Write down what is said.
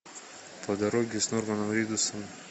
по дороге с норманом ридусом